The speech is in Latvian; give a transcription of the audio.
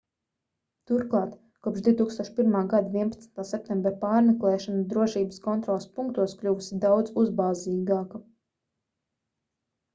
turklāt kopš 2001. gada 11. septembra pārmeklēšana drošības kontroles punktos kļuvusi daudz uzbāzīgāka